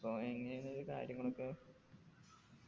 അപ്പൊ അതെങ്ങനെയാണ് ഇത് കാര്യങ്ങളൊക്കെ